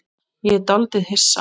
Ég er dálítið hissa.